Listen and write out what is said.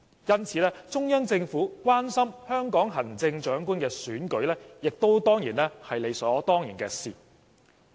因此，中央政府關心香港行政長官選舉是理所當然的事。